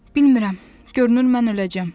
Bilmirəm, görünür mən öləcəm.